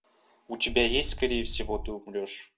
у тебя есть скорее всего ты умрешь